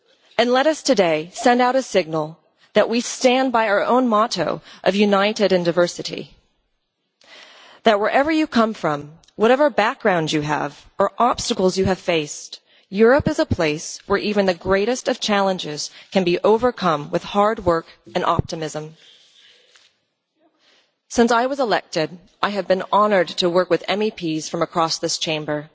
And let us today send out a signal that we stand by our own motto of united in diversity' that, wherever you come from, whatever background you have or obstacles you have faced, Europe is a place where even the greatest of challenges can be overcome with hard work and optimism. Since I was elected, I have been honoured to work with MEPs from across this Chamber.